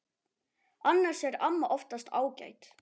Annars er amma oftast ágæt.